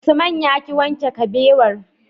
Usman yaki wanke kabewar